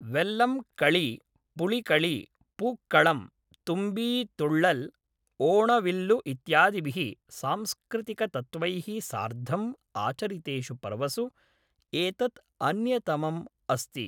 वेल्लं कळी, पुळिकळी, पूक्कळं, तुम्बी तुळ्ळल्, ओणविल्लु इत्यादिभिः सांस्कृतिकतत्त्वैः सार्धम् आचरितेषु पर्वसु एतत् अन्यतमम् अस्ति।